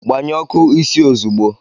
Gbanyụọ ọkụ isi ozugbo!